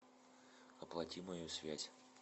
оплати мою связь